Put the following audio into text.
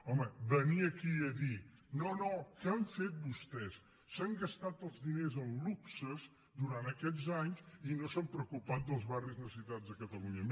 home venir aquí a dir no no què han fet vostès s’han gastat els diners en luxes durant aquests anys i no s’han preocupat dels barris necessitats de catalunya